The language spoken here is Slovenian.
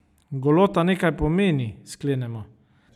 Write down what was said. Golota nekaj pomeni, sklenemo.